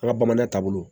An ka bamanan taabolo